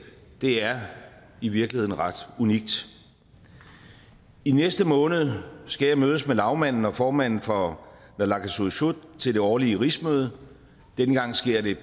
det er i virkeligheden ret unikt i næste måned skal jeg mødes med lagmanden og formanden for naalakkersuisut til det årlige rigsmøde denne gang sket